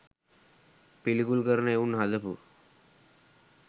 පිළිකුල් කරන එවුන් හදපු